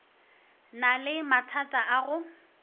na le mathata a go